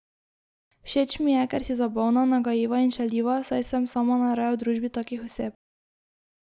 Všeč mi je, ker si zabavna, nagajiva in šaljiva, saj sem sama najraje v družbi takih oseb.